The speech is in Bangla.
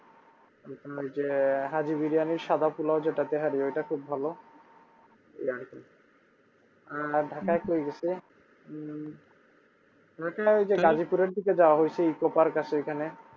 ঐযে হাজি বিরিয়ানির সাদা পোলাও ঐটা খুব ভালো এই আরকি ঢাকায় কি গেছে উম ঢাকার দিকে যাওয়া হয়েছে ইকো পার্ক আছে ঐখানে